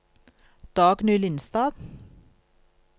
Dagny Lindstad